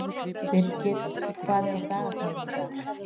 Birgir, hvað er á dagatalinu í dag?